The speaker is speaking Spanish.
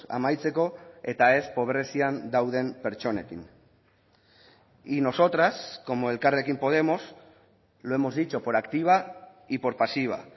amaitzeko eta ez pobrezian dauden pertsonekin y nosotras como elkarrekin podemos lo hemos dicho por activa y por pasiva